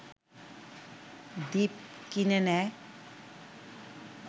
দ্বীপ কিনে নেয়